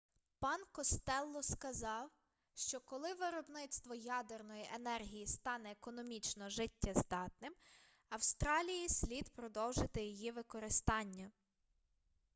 пан костелло сказав що коли виробництво ядерної енергії стане економічно життєздатним австралії слід продовжити її використання